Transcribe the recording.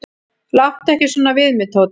"""Láttu ekki svona við mig, Tóti."""